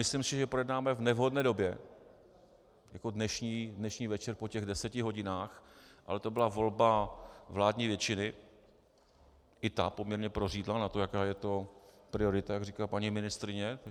Myslím si, že projednáváme v nevhodné době, jako dnešní večer po těch deseti hodinách, ale to byla volba vládní většiny - i ta poměrně prořídla na to, jaká je to priorita, jak říká paní ministryně.